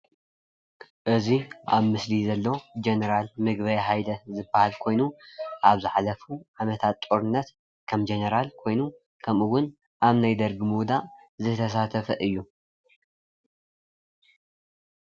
እዚዬ ኣብምስሊ ዘሎ ጀነራል ምግበይ ሃይለ ዝበሃል ኾይኑ ኣብ ዝሓለፉ ዓመታት ጦርነት ከም ጀነራል ኾይኑ ኸምኡ ውን ኣብ ናይ ደርጊ ምውዳቅ ዝተሳተፈ እዮ።